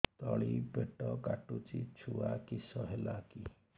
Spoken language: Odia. ତଳିପେଟ କାଟୁଚି ଛୁଆ କିଶ ହେଲା କି